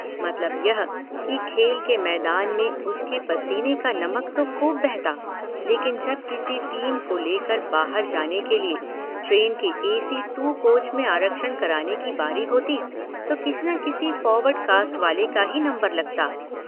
मतलब यह कि खेल के मैदान में उसके पसीने का नमक तो खूब बहता लेकिन जब किसी टीम को ले कर बाहर जाने के लिए ट्रेन के एसी टू कोच में आरक्षण कराने की बारी होती तो किसी न किसी फॉरवर्ड कास्ट वाले का ही नंबर लगता।